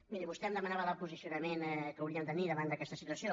miri vostè em demanava el posicionament que hauríem de tenir davant d’aquesta situació